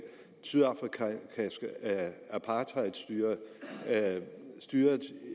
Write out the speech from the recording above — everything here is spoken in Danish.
sydafrika apartheidstyret styret